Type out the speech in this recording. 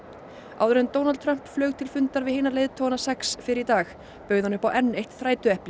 áður en Donald Trump flaug til fundar við hina leiðtogana sex fyrr í dag bauð hann upp á enn eitt þrætueplið